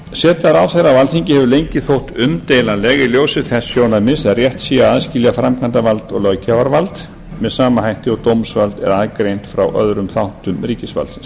seta ráðherra á alþingi hefur lengi þótt umdeilanleg í ljósi þess sjónarmiðs að rétt sé að aðskilja framkvæmdarvald og löggjafarvald með sama hætti og dómsvald er aðgreint frá öðrum þáttum ríkisvaldsins